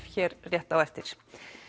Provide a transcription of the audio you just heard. hér rétt á eftir